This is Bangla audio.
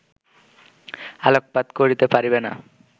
আলোকপাত করিতে পারিবে না